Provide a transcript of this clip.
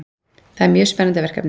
Það er mjög spennandi verkefni